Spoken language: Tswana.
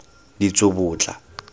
ditsobotla